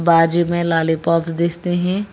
बाजू में लॉलीपॉप दिखते है।